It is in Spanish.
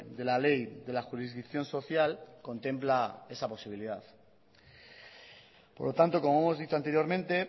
de la ley de la jurisdicción social contempla esa posibilidad por lo tanto como hemos dicho anteriormente